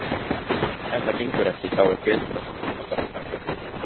Ef það gengur ekki þá er bara að taka því.